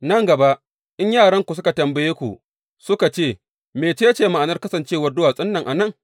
Nan gaba in yaranku suka tambaye ku suka ce, Mece ce ma’anar kasancewar duwatsun nan a nan?’